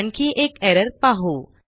आणखी एक एरर पाहू